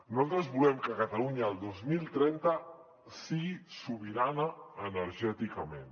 nosaltres volem que catalunya el dos mil trenta sigui sobirana energèticament